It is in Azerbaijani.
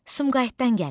Sumqayıtdan gəlmişəm.